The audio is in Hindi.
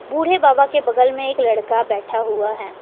बूढ़े बाबा के बगल में एक लड़का बैठा हुआ है।